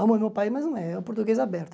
Amo o meu país, mas não é. É o português aberto.